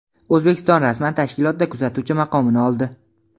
O‘zbekiston rasman tashkilotda kuzatuvchi maqomini oldi.